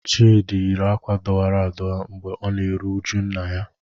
Chidi yi akwa adọwara adọwa mgbe ọ na-eru uju nna ya.